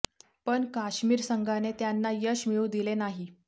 पण काश्मिर संघाने त्यांना यश मिळू दिले नाही